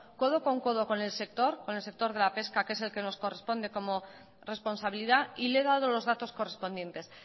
codo con codo con el sector de la pesca que es el que nos corresponde como responsabilidad y le he dado los datos correspondientes